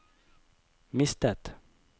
mistet